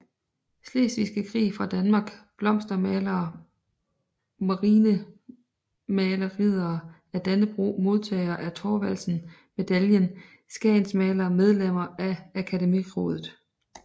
Slesvigske Krig fra Danmark Blomstermalere Marinemalere Riddere af Dannebrog Modtagere af Thorvaldsen Medaillen Skagensmalere Medlemmer af Akademiraadet